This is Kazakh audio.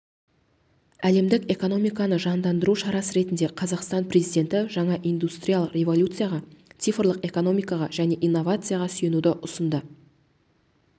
әлемдік экономиканы жандандыру шарасы ретінде қазақстан президенті жаңа индустриялық революцияға цифрлық экономикаға және инновацияларға сүйенуді ұсынды